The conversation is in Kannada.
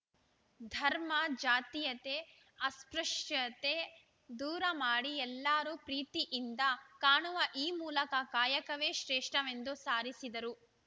ಧರ್ಮ ಜಾತೀಯತೆ ಅಸ್ಪೃಶ್ಯತೆ ದೂರಮಾಡಿ ಎಲ್ಲರು ಪ್ರೀತಿಯಿಂದ ಕಾಣುವ ಆ ಮೂಲಕ ಕಾಯಕವೇ ಶ್ರೇಷ್ಠವೆಂದು ಸಾರಿಸಿ ದರು